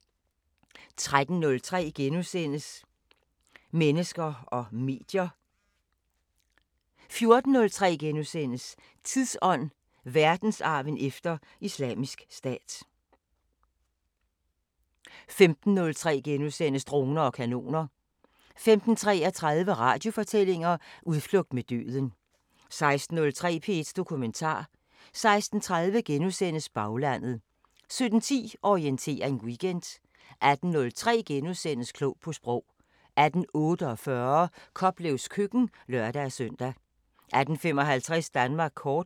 13:03: Mennesker og medier * 14:03: Tidsånd: Verdensarven efter Islamisk Stat * 15:03: Droner og kanoner * 15:33: Radiofortællinger: Udflugt med døden 16:03: P1 Dokumentar 16:30: Baglandet * 17:10: Orientering Weekend 18:03: Klog på Sprog * 18:48: Koplevs køkken (lør-søn) 18:55: Danmark kort